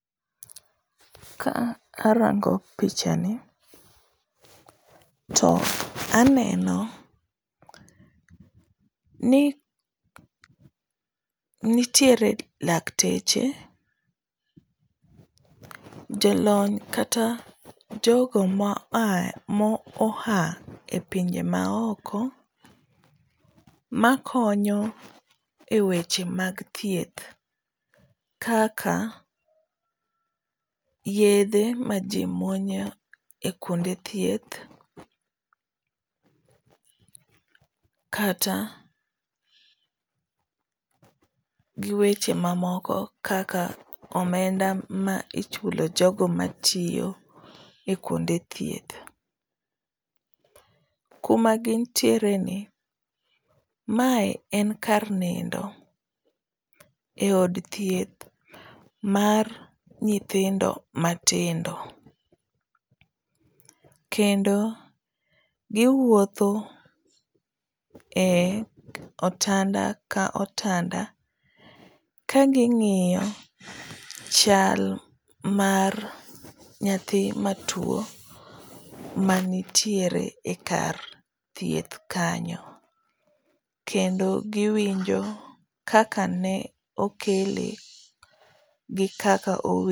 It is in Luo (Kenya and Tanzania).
Ka arango picha ni to aneno ni nitiere lakteche, jolony kata jogo moha e pinje maoko makonyo e weche mag thieth kaka yedhe ma ji mwonyo e kwonde thieth, kata giweche mamoko kaka omenda ma ichulo jogo matiyo e kwonde thieth. Kuma gintiereni, mae en kar nindo e od thieth mar nyithindo matindo, kendo giwuotho e otanda ka otanda ka ing'iyo chal mar nyathi matuwo manitiere e kar thieth kanyo, kendo giwinjo kaka ne okele gi kaka.